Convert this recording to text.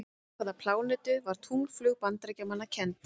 Við hvaða plánetu var tunglflaug Bandaríkjamanna kennd?